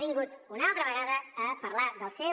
vingut una altra vegada a parlar de lo seu